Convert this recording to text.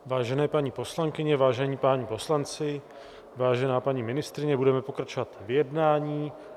Vážené paní poslankyně, vážení páni poslanci, vážená paní ministryně, budeme pokračovat v jednání.